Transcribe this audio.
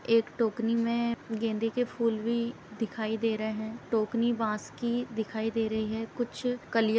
एक टोकरी मे गेंदे के फूल भी दिखाई दे रहे हैं। टोकरी बांस की दिखाई दे रही है। कुछ कलिया --